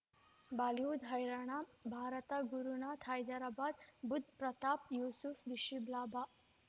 Bollywood ಹೈರಾಣ ಭಾರತ ಗುರುನಾಥ ಹೈದರಾಬಾದ್ ಬುಧ್ ಪ್ರತಾಪ್ ಯೂಸುಫ್ ರಿಷಬ್ ಲಾಭ